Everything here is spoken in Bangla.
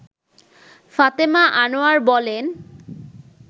ফাতেমা আনোয়ার বলেন